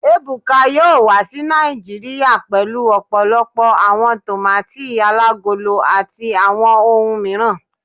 Ebuka yoo wa si Naijiria pẹlu ọpọlọpọ awọn tomati alagolo ati awọn ohun miiran